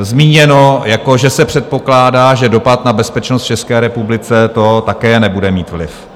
zmíněno, že se předpokládá, že dopad na bezpečnost v České republice to také nebude mít vliv.